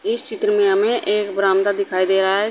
इस चित्र में हमें एक बरामदा दिखाई दे रहा है।